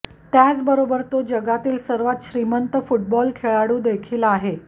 त्याचबरोबर तो जगातील सर्वात श्रीमंत फुटबॉल खेळाडू देखील आहे